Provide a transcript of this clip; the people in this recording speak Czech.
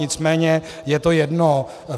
Nicméně je to jedno.